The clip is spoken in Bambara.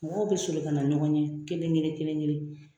Mɔgɔw be soli ka na ɲɔgɔn ɲɛ, kelen- kelen kelen .